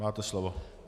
Máte slovo.